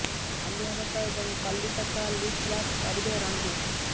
ଆଲିଆ ଭଟ୍ଟ ଏବଂ କଲ୍କିଙ୍କ ସହ ଲିପ୍ ଲକ୍ କରିବେ ରଣବୀର